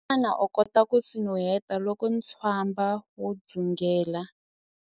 Xana u kota ku swi nuheta loko ntswamba wu dzungela?